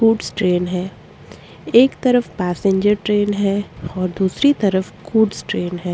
Goods train है एक तरफ पैसेंजर ट्रैन है और दूसरी तरफ गुड्स ट्रैन है।